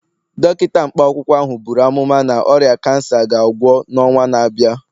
Dọkịta mkpa akwụkwọ ahụ buru amụma na ọrịa kansa ga-agwọ n'ọnwa na-abịa